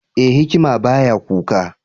E! hikima ba ya kuka.